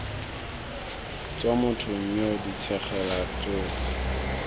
tswa mothong yoo ditshenyegelo tsotlhe